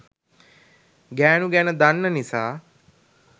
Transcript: ගෑනු ගැන දන්න නිසා